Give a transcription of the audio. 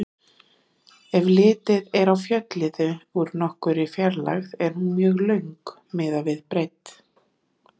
Ef litið er á fjölliðu úr nokkurri fjarlægð er hún mjög löng miðað við breidd.